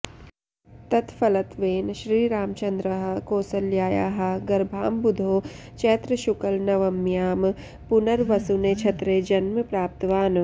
तत्फलत्वेन श्रीरामचन्द्रः कौसल्यायाः गर्भाम्बुधौ चैत्रशुक्लनवम्यां पुनर्वसुनक्षत्रे जन्म प्राप्तवान्